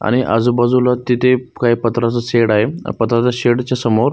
आणि आजूबाजूला तिथे काही पत्राच शेड आहे पत्र्याच्या शेडच्या समोर.